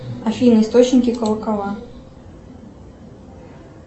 афина источники колокола